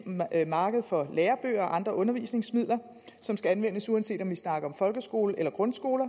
marked for lærebøger og andre undervisningsmidler som skal anvendes uanset om vi snakker om folkeskole eller grundskole